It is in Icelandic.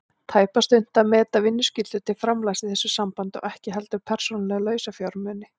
tæpast unnt að meta vinnuskyldu til framlags í þessu sambandi og ekki heldur persónulega lausafjármuni.